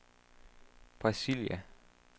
Brasilia